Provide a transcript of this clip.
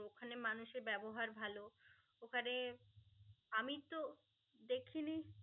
ওখানে মানুষের ব্যবহার ভালো. ওখানে আমি তো দেখিনি